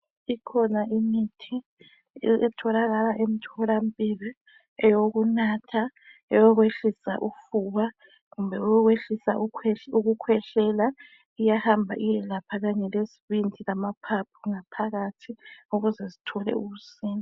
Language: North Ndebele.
Ikhona imithi etholakala emtholampilo eyokunatha eyokwehlisa ufuba kumbe leyokwehlisa ukukhwehlela iyahamba iyelapha lezibindi lamaphaphu ukuze sithole ukusinda.